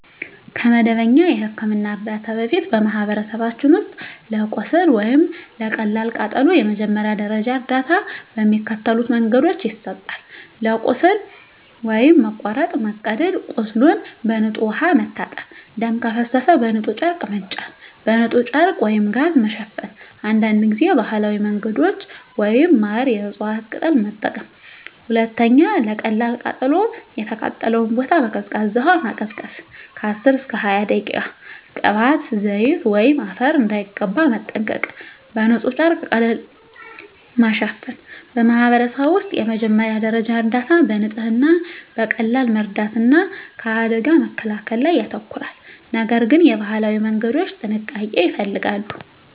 ከመደበኛ የሕክምና እርዳታ በፊት፣ በማኅበረሰቦች ውስጥ ለቁስል ወይም ለቀላል ቃጠሎ የመጀመሪያ ደረጃ እርዳታ በሚከተሉት መንገዶች ይሰጣል፦ ለቁስል (መቁረጥ፣ መቀደድ) ቁስሉን በንጹሕ ውሃ መታጠብ ደም ከፈሰሰ በንጹሕ ጨርቅ መጫን በንጹሕ ጨርቅ/ጋዝ መሸፈን አንዳንድ ጊዜ ባህላዊ መንገዶች (ማር፣ የእፅዋት ቅጠል) መጠቀም 2. ለቀላል ቃጠሎ የተቃጠለውን ቦታ በቀዝቃዛ ውሃ ማቀዝቀዝ (10–20 ደቂቃ) ቅባት፣ ዘይት ወይም አፈር እንዳይቀባ መጠንቀቅ በንጹሕ ጨርቅ ቀለል ማሸፈን በማኅበረሰብ ውስጥ የመጀመሪያ ደረጃ እርዳታ በንጽህና፣ በቀላል መርዳት እና ከአደጋ መከላከል ላይ ያተኮራል፤ ነገር ግን የባህላዊ መንገዶች ጥንቃቄ ይፈልጋሉ።